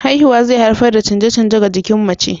Haihuwa zai haifar da canje-canje ga jikin mace.